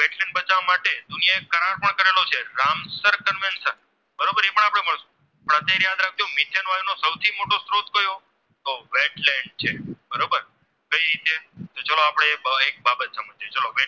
સૌથી મોટો સ્ત્રોત કયો તો બરોબર કઈ રીતે તો ચાલો આપણે એક બાબત સમજીયે